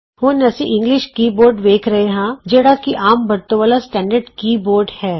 ਹੁਣ ਅਸੀਂ English keyboard ਵੇਖ ਰਹੇ ਹਾਂ ਜਿਹੜਾ ਕਿ ਆਮ ਵਰਤੋਂ ਵਾਲਾ ਸਟੈਡਰਡ ਕੀ ਬੋਰਡ ਹੈ